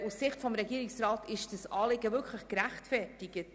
Aus Sicht des Regierungsrats ist dieses Anliegen wirklich gerechtfertigt.